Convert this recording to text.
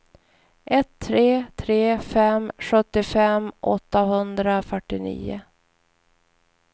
ett tre tre fem sjuttiofem åttahundrafyrtionio